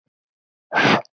Getur þetta ekki.